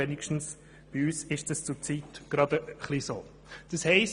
Wenigstens bei uns ist das zurzeit ein wenig der Fall.